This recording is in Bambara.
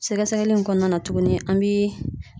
Sɛgɛsɛgɛli in kɔnɔna na tuguni an bi